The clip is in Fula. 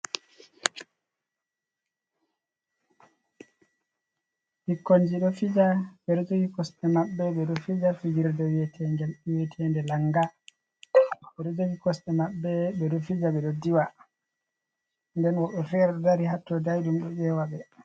Ɓikkonji ɗo fija, ɓe ɗo jogi kosɗe maɓɓe ɓe ɗo fija fijirde wiyetege, wiyetende langa. Ɓe ɗo jogi kosɗe maɓɓe, ɓe ɗo fija, ɓe ɗo diwa. Nden woɓɓe fere dari hatto daiɗum ɗo eewa ɓe.